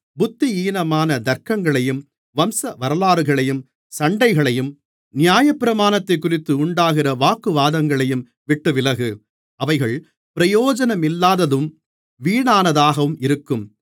புத்தியீனமான தர்க்கங்களையும் வம்சவரலாறுகளையும் சண்டைகளையும் நியாயப்பிரமாணத்தைக்குறித்து உண்டாகிற வாக்குவாதங்களையும் விட்டுவிலகு அவைகள் பிரயோஜனமில்லாததும் வீணானதாகவும் இருக்கும்